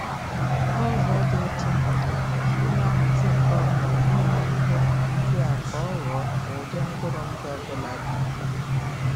N'ụzọ dị ịtụnanya, a na-ahazi nke ọ bụla n'ime ihe um ndị a ka ọ ghọọ ụdị mkpụrụ ndụ ọ bụla dị mkpa.